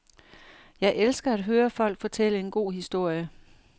Jeg elsker at høre folk fortælle en god historie.